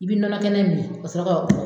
I bi nɔnɔ kɛnɛ min kasɔrɔ k'a bu